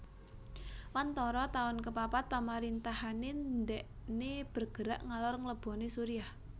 Wantara taun kepapat pemerintahanne ndekne bergerak ngalor ngeleboni Suriah